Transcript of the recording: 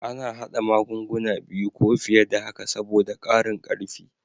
A na hada magunguna biyu ko fiye da haka saboda ƙarin karfi